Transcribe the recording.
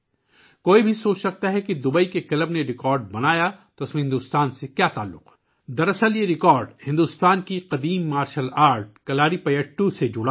کوئی سوچ سکتا ہے کہ دوبئی کے کلب نے ریکارڈ بنایا تو اس کا بھارت سے کیا تعلق؟ درحقیقت، یہ ریکارڈ بھارت کے قدیم مارشل آرٹ کلاریپائیتو سے متعلق ہے